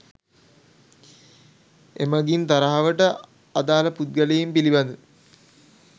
එමගින් තරහවට අදාල පුද්ගලයින් පිළිබඳ